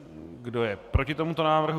Kdo je proti tomuto návrhu?